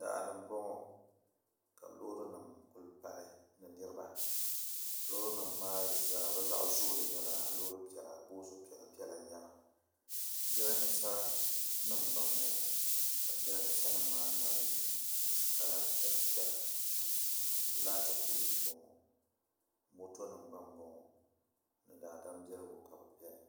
daa ni m-bɔŋɔ ka loorinima kuli pali ni niriba loorinima maa zaa bɛ zaɣ' zooli nyɛla loor' piɛla boos' piɛlapiɛla n-nyɛ ba jirambiisanima gba m-bɔŋɔ ka jirambiisanima maa mali kala piɛlapiɛla laati pooli m-bɔŋɔ motonima gba m-bɔŋɔ ni daadambiɛligu ka bɛ beni